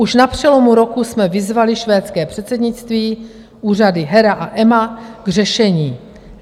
Už na přelomu roku jsme vyzvali švédské předsednictví, úřady HERA a EMA, k řešení.